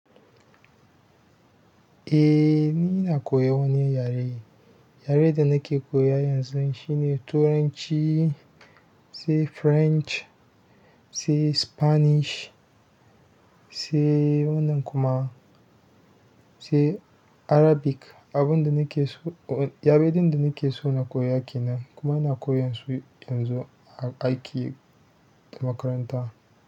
Eh, ni ina koyan wani yare. Yaren da nake koya yanzu shine turanci, sai French, sai Spanish, sai wannan kuma, sai Arabic. Abun da nake so, yare ɗin da na ke so na koya ke nan. Kuma ina koyan su yanzu a aiki da makaranta.